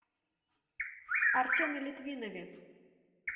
артеме литвинове